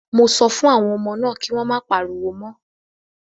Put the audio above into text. Mo sọ fún àwọn ọmọ náà kí wọ́n má pariwo mọ́.